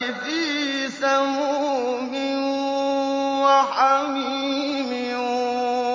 فِي سَمُومٍ وَحَمِيمٍ